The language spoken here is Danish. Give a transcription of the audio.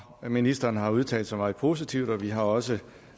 ministeren har udtalt sig meget positivt og vi har også